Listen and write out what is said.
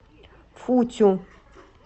футю